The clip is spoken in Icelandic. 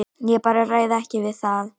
Ég bara ræð ekki við það.